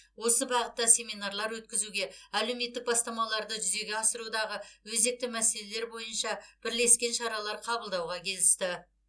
осы бағытта семинарлар өткізуге әлеуметтік бастамаларды жүзеге асырудағы өзекті мәселелер бойынша бірлескен шаралар қабылдауға келісті